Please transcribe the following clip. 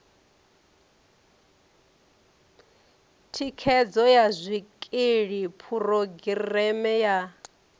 thikhedzo ya zwikili phurogireme ya